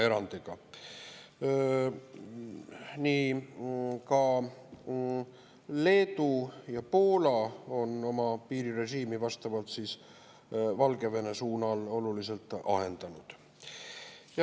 Ka Leedu ja Poola on oma piirirežiimi vastavalt siis Valgevene suunal oluliselt ahendanud.